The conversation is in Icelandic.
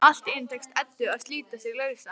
Allt í einu tekst Eddu að slíta sig lausa.